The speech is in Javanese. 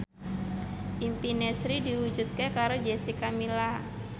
impine Sri diwujudke karo Jessica Milla